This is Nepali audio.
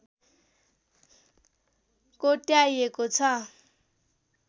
कोट्याइएको छ